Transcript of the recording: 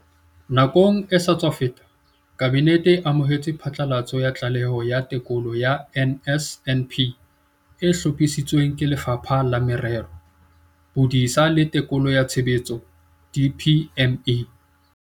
Nakong e sa tswa feta, Kabinete e amohetse phatlalatso ya Tlaleho ya Tekolo ya NSNP e hlophisitsweng ke Lefapha la Merero, Bodisa le Tekolo ya Tshebetso, DPME.